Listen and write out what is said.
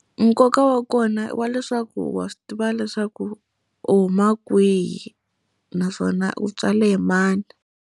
Nkoka wa kona i wa leswaku wa swi tiva leswaku u huma kwihi, naswona u tswale hi mani.